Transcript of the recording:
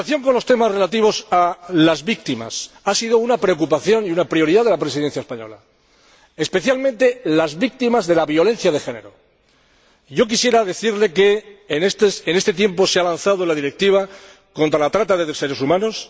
Los temas relativos a las víctimas han sido una preocupación y una prioridad de la Presidencia española, especialmente las víctimas de la violencia de género. Yo quisiera decirle que en este tiempo se ha avanzado en la Directiva contra la trata de seres humanos.